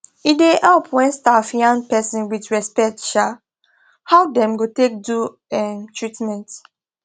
e da help when staff yan person with respect um how them go take do um treatment